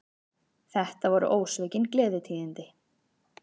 Þetta voru ósvikin gleðitíðindi